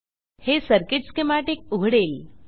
हे circuit schematic उघडेल